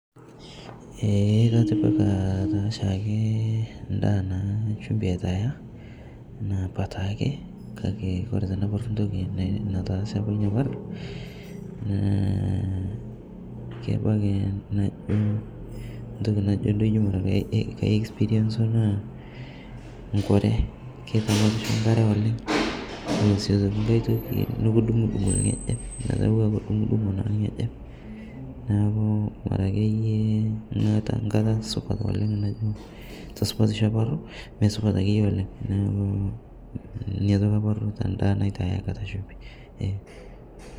Ee atipika taapa shimbi endaa naa ore tenaparru entoki nataase apa, entoki duo naaiexpirienzo naa, enkure kedumaki enkare oleng naa nikidung'udung' orng'ejep ekidungudung orng'ejep neeku ore akeyie ore tesupatisho mesupat akeyie oleng neeku ninye apa atalarrua te ndaa natipika shumbi.